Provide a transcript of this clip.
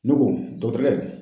Ne ko dɔgɔtɔrɔkɛ.